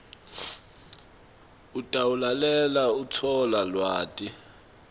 utawulalela kutfola lwati